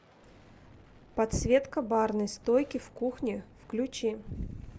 подсветка барной стойки в кухне включи